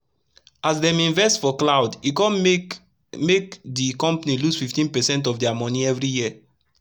as dem invest for cloud e kon make make d compani lose 15 percent of dia moni everi year